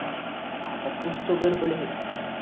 आता कूछ तो गडबड है.